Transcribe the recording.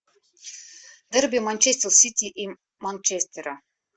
дерби манчестер сити и манчестера